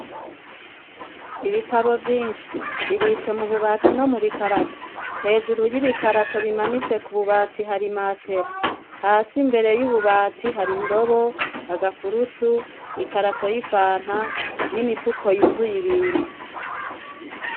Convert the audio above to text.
Ibitabo vyinshi, bibitswe mu bubati no mubi karato. Hejuru y'ibikarato bimanitse ku bubati hari i matera, hasi imbere y'ububati hari indobo, agakurutu, ikarato y'ifanta n'imifuko yuzuye ibintu.